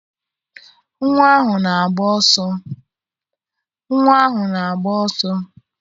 Nnwa ahụ na-agba ọsọ